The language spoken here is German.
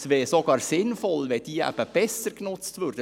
Es wäre sogar sinnvoll, wenn solche Häuser besser genutzt würden.